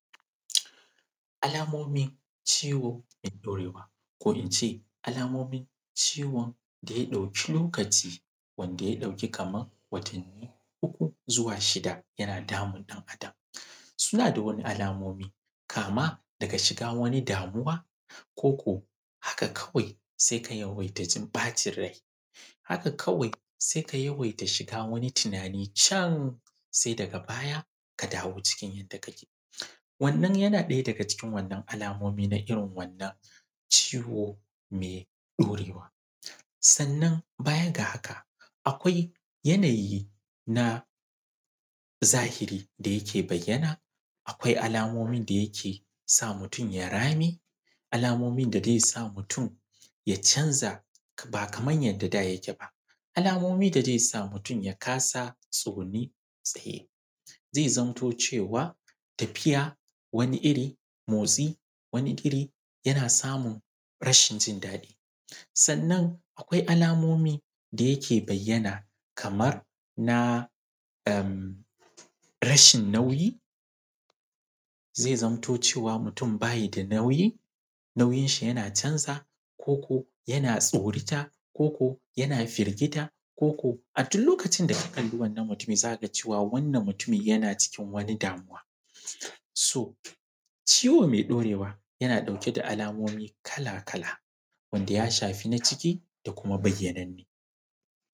Alamomin ciwo mai ɗorewa, ko in ce, alamomin ciwon da ya ɗauki lokaci, wanda ya ɗauki kaman watanni uku zuwa shida yana damun ɗan’adam. Suna da wani alamomi, kama daga shiga wani damuwa, ko ko haka kawai, sai ka yawaita jin ɓacin rai. Haka kawai, sai ka yawaita shiga wani tunani can, sai daga baya, ka dawo cikin yadda kake. Wannan yana ɗaya daga cikin wannan alamomin na irin wannan ciwo mai ɗorewa. Sannan baya ga haka, akwai yanayi na zahiri da yake bayyana. Akwai alamomin da yake sa mutum ya rame, alamomin da zai sa mutum ya canza ba kaman yadda da yake ba, alamomin da zai sa mutum ya kasa tsugune ko tsaye, zai zamanto cewa, tafiya, wani iri, motsi wani iri, yana samun rashin jin daɗi. Sannan, akwai alamomi da yake bayyana, kamar na, ehm, rashin nauyi. Zai zamto cewa mutum ba yi da nauyi, nauyinshi yana canzawa, ko ko yana tsorata, ko ko yana firgita, ko ko a duk lokacin da ka kalli wannan mutum, za ka ga cewa wannan mutum yana cikin wani damuwa. So, ciwo mai ɗorewa yana ɗauke da alamomi kala-kala, wanda ya shafi na ciki, da kuma bayyananne,